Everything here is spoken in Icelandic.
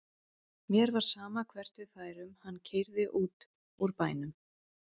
Mér var sama hvert við færum og hann keyrði út úr bænum.